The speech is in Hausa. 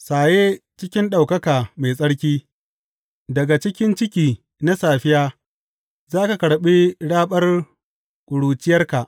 Saye cikin ɗaukaka mai tsarki, daga cikin ciki na safiya za ka karɓi raɓar ƙuruciyarka.